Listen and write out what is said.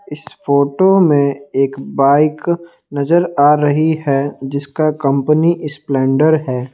इस फोटो में एक बाइक नजर आ रही है जिसका कंपनी स्प्लेंडर है।